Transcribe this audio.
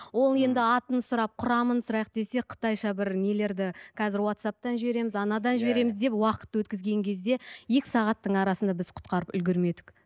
ол енді атын сұрап құрамын сұрайық десек қытайша бір нелерді қазір уатсаптан жібереміз анадан жібереміз деп уақытты өткізген кезде екі сағаттың арасында біз құтқарып үлгермедік